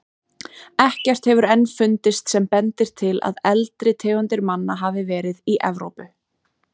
Ekkert hefur enn fundist sem bendir til að eldri tegundir manna hafi verið í Evrópu.